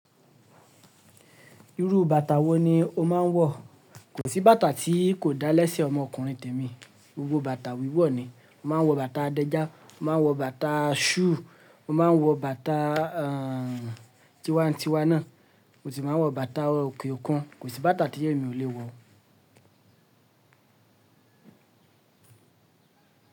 Irú bàtà wo ni o máa ń wọ̀? Kò sí bàtà tí kò dáa lẹ́sẹ̀ ọmọkùnrin tèmi, gbogbo bàtà wíwọ̀ ni. Mo máa ń wọ bàtà adẹ́já, mo máa ń wọ bàtà shoe, mo máa ń wọ bàtà, tiwa n tiwa náà, mo sì máa ń wọ bàtà òkèòkun. Kò sí bàtà tí èmi ò lè wọ̀.